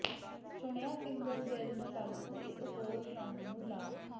ਚੁਣਿਆ finger gel ਨੂੰ ਲਾਗੂ ਇਕ ਹੋਰ ਰੰਗ ਨੂੰ ਲਾਖ